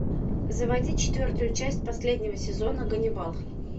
заводи четвертую часть последнего сезона ганнибал